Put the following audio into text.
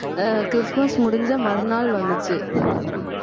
ஆஹ் Christmas முடிஞ்ச மறுநாள் வந்துச்சி